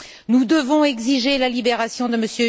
Nous devons exiger la libération de M.